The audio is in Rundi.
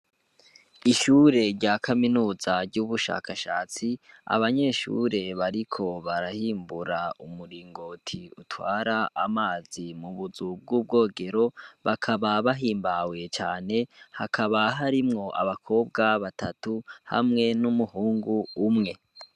Ishure rya kaminuza ry'ubushakashatsi, abanyeshure bariko barahimbura umuringoti utwara amazi mu buzu bw'ubwogero, bakaba hahimbawe cane, hakaba harimwo abakobwa batatu, hamwe n'umuhungu umwe.